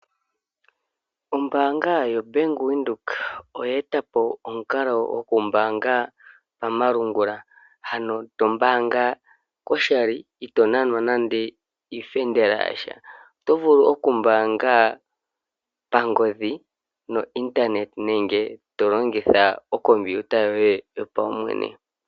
Ombaanga yoBank Windhoek oye tapo omukalo gokumbaanga komalungula, ano tombaanga koshali ito nanwa nande iifendela yasha. Otovulu okumbaanga pangodhi no internet nenge tolongitha okompiuta yoye yo paumwene.